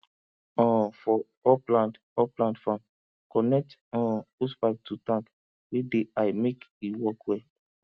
um for upland upland farm connect um hosepipe to tank wey dey high make e work well